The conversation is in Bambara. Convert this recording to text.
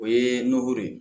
O ye n nɔgɔ ye